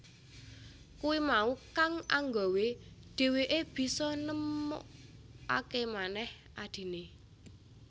Kuwi mau kang anggawé dheweké bisa nemukakémanèh adhiné